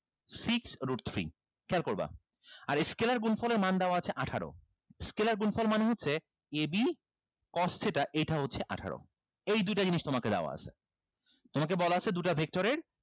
six root three খেয়াল করবা আর scalar গুণফলের মান দেওয়া আছে আঠারো scalar গুণফল মানে হচ্ছে a b cos theta এটা হচ্ছে আঠারো এই দুইটা জিনিস তোমাকে দেওয়া আছে তোমাকে বলা আছে দুটা vector এর